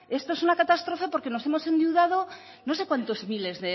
esto es una catástrofe porque nos hemos endeudado no sé cuántos miles